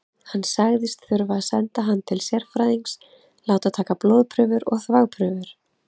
Hann sagðist þurfa að senda hann til sérfræðings, láta taka blóðprufur og þvagprufur.